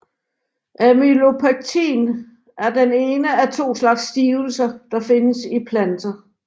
Amylopektin er den ene af to slags stivelse der findes i planter